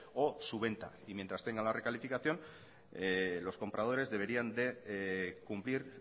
o su venta y mientras tenga la recalificación los compradores deberían de cumplir